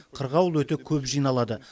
қырғауыл өте көп жиналады